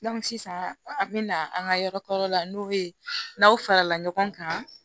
sisan an bɛ na an ka yɔrɔ ka yɔrɔ la n'o bɛ n'aw farala ɲɔgɔn kan